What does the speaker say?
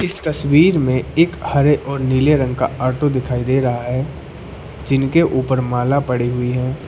तस्वीर में एक हरे और नीले रंग का ऑटो दिखाई दे रहा है जिनके ऊपर माला पड़ी हुई है।